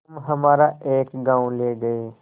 तुम हमारा एक गॉँव ले गये